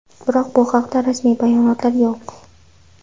Biroq, bu haqda rasmiy bayonotlar yo‘q.